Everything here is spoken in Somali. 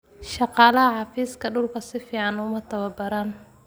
Shaqaalaha xafiiska dhulku si fiican uma tababaran.